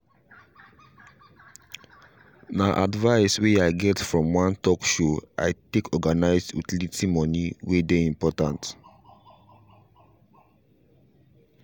nah advice way i get from one talk show i take organize utility money way dey important